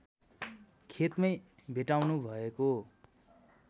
खेतमै भेट्टाउनु भएको